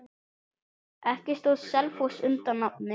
Ekki stóð Selfoss undir nafni.